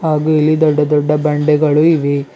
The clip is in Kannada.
ಹಾಗು ಇಲ್ಲಿ ದೊಡ್ಡ ದೊಡ್ಡ ಬಂಡೆಗಳು ಇವೆ.